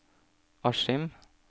Askim